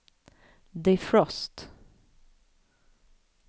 defrost